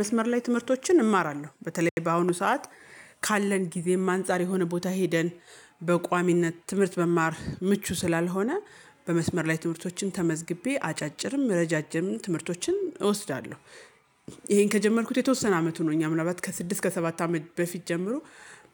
መስመር ላይ ትምህርቶችን እማራለሁ በተለይ በአሁኑ ሰዓት ካለን ጊዜም አንፃር የሆነ ቦታ ሄደን በቋሚነት ትምህርት መማር ምቹ ስላልሆነ በመስመር ላይ ትምህርቶችን ተመዝግቤ አጫጭርም ረዣዥም ትምህርቶችን እወስዳለሁ። ይሄን ከጀመርኩት የተወሰነ አመት ሆኖኛል ምናልባት ከስድስት ከሰባት አመት በፊት ጀምሮ